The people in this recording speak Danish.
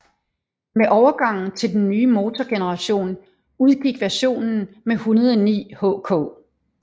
Med overgangen til den nye motorgeneration udgik versionen med 109 hk